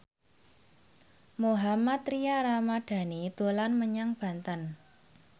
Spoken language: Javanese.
Mohammad Tria Ramadhani dolan menyang Banten